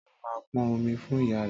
Tọlú máa pọn omi fún ìyá re